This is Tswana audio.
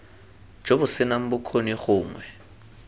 jo bo senang bokgoni gongwe